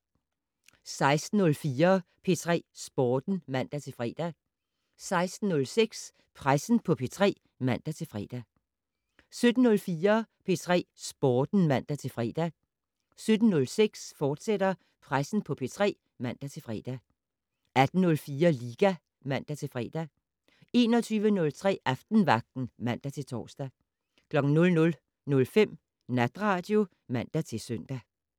16:04: P3 Sporten (man-fre) 16:06: Pressen på P3 (man-fre) 17:04: P3 Sporten (man-fre) 17:06: Pressen på P3, fortsat (man-fre) 18:04: Liga (man-fre) 21:03: Aftenvagten (man-tor) 00:05: Natradio (man-søn)